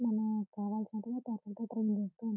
మనం కావాల్సినట్టుగా ట్రైనింగ్ ఇస్తూ ఉంటారు--